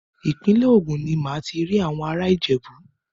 Ìpínlẹ̀ Ògùn ní màá ti rí àwọn ará Ìjẹ̀bú.